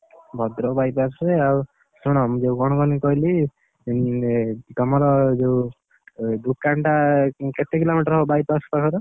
ଭଦ୍ରକ ବାଇପାସରେ ଆଉ, ଶୁଣ ମୁଁ ଯୋଉ କଣ କହନି କହିଲି, ଉଁ, ତମର ଯୋଉ, ଉ ଦୋକାନଟା କେତେ କିଲୋମିଟର ବାଇପାସ ପାଖରୁ?